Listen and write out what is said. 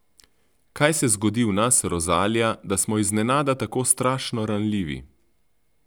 Kaj se zgodi v nas, Rozalija, da smo iznenada tako strašno ranljivi?